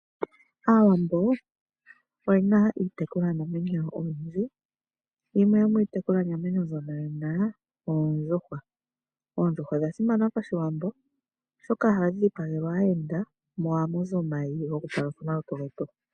Aawambo oyena iitekulwa namwenyo oyindji, yimwe yo mitekulwa namwenyo mbono yena Oondjhuhwa, Oondjhuhwa odha simana pashiwambo oshoka ohadhi dhipagelwa aayenda mo ohamu zi omayi go kufala komagumbo getu.